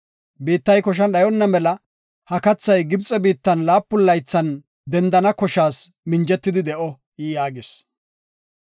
Biittay koshan dhayona mela ha kathay Gibxe biittan laapun laythan dendana koshas minjetidi de7o” yaagis.